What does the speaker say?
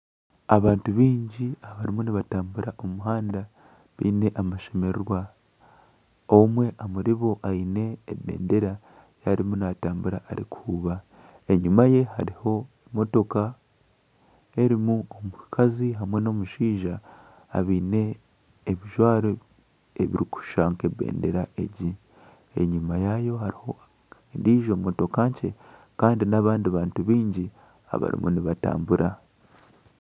Abantu baingi abarimu nibatambura omu muhanda baine amashemererwa. Omwe omuribo aine ebendera ei arimu naatambura arikuhuuba. Enyima ye hariho motoka erimu omushaija n'omukazi abaine ebijwaro ebirikushusha nk'ebendera egi. Enyima yaayo hariho emotoka nkye kandi n'abandi bantu baingi abarimu nibatambura.